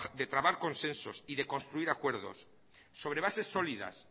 de trabar consensos y de construir acuerdos sobre bases sólidas